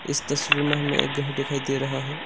इस तस्वीर में हमें एक घर दिखाई दे रहा है।